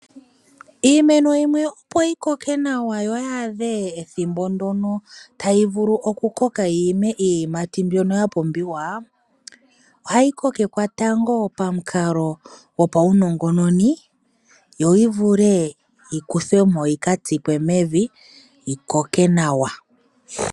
Iimeno yimwe opo yi koke nawa yo oyi adhe ethimbo ndono tayi vulu okukoka yi ime iiyimati mbyono ya pumbiwa, ohayi kokekwa tango pamukalo gopaunongononi yo oyi vule yi kuthwe mo yika tsikwe mevi yi koke nawa.